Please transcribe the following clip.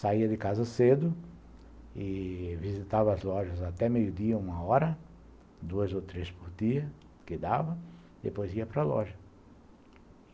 Saía de casa cedo e visitava as lojas até meio-dia, uma hora, duas ou três por dia, o que dava, depois ia para a loja.